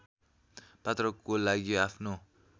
पात्रको लागि आफ्नो